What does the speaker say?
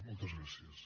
moltes gràcies